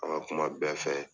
An ka kuma bɛɛ fɛ.